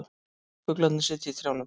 Fuglarnir sitja í trjánum.